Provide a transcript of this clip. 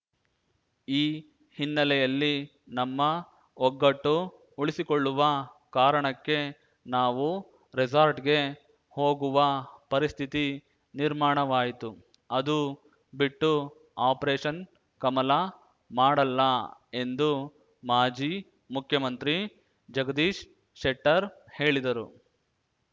ಈ ಹಿನ್ನೆಲೆಯಲ್ಲಿ ನಮ್ಮ ಒಗ್ಗಟ್ಟು ಉಳಿಸಿಕೊಳ್ಳುವ ಕಾರಣಕ್ಕೆ ನಾವು ರೆಸಾರ್ಟ್‌ಗೆ ಹೋಗುವ ಪರಿಸ್ಥಿತಿ ನಿರ್ಮಾಣವಾಯಿತು ಅದು ಬಿಟ್ಟು ಆಪರೇಷನ್‌ ಕಮಲ ಮಾಡಲ್ಲ ಎಂದು ಮಾಜಿ ಮುಖ್ಯಮಂತ್ರಿ ಜಗದೀಶ್ ಶೆಟ್ಟರ್‌ ಹೇಳಿದರು